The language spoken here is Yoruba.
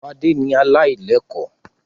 Fadé ni aláìlẹ́kọ̀ọ́.